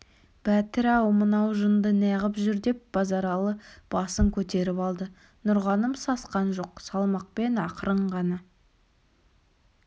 бәтір-ау мынау жынды неғып жүр деп базаралы басын көтеріп алды нұрғаным сасқан жоқ салмақпен ақырын ғана